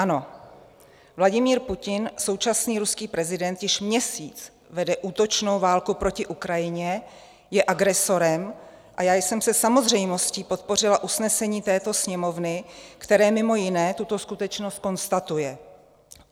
Ano, Vladimír Putin, současný ruský prezident, již měsíc vede útočnou válku proti Ukrajině, je agresorem a já jsem se samozřejmostí podpořila usnesení této Sněmovny, které mimo jiné tuto skutečnost konstatuje.